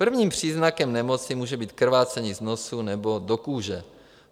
Prvním příznakem nemoci může být krvácení z nosu nebo do kůže.